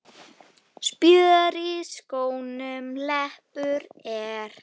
Spjör í skónum leppur er.